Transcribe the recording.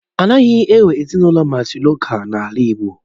Anaghị enwe ezinụlọ mátrịlokál n'ala igbo